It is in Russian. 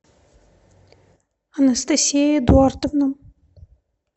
анастасия эдуардовна